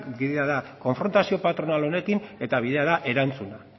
bidea da konfrontazioa patronal honekin eta bidea da erantzuna